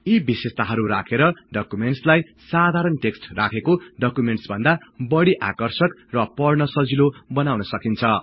यी विशेषताहरु राखेर डकुमेन्ट्सलाई साधारण टेक्सट् राखेको डकुमेन्टस भन्दा बढी आकर्षक र पढ्न सजिलो बनाउन सकिन्छ